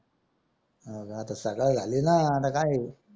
सकाळ झाली ना आता काय आहे